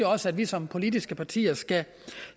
også at vi som politiske partier skal